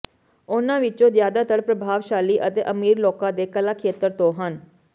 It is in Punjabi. ਉਨ੍ਹਾਂ ਵਿਚੋਂ ਜ਼ਿਆਦਾਤਰ ਪ੍ਰਭਾਵਸ਼ਾਲੀ ਅਤੇ ਅਮੀਰ ਲੋਕਾਂ ਦੇ ਕਲਾ ਖੇਤਰ ਤੋਂ ਹਨ